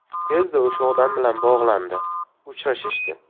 Tezda o‘sha odam bilan bog‘landi, uchrashishdi.